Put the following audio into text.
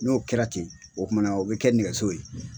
N'o kɛra ten o kumana o bɛ kɛ nɛgɛso ye.